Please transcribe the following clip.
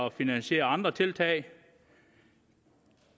at finansiere andre tiltag